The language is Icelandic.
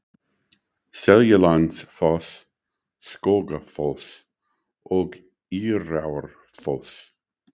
Seljalandsfoss, Skógafoss og Írárfoss.